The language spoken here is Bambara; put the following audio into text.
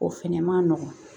O fɛnɛ ma nɔgɔn